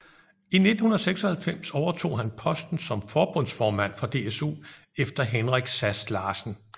I 1996 overtog han posten som forbundsformand for DSU efter Henrik Sass Larsen